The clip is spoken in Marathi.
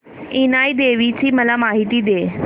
इनाई देवीची मला माहिती दे